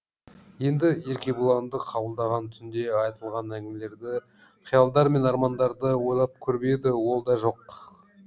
енді еркебұланды қабылдаған түнде айтылған әңгімелерді қиялдар мен армандарды ойлап көріп еді ол да жоқ